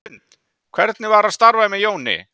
Hrund: Hvernig var að starfa með Jóni?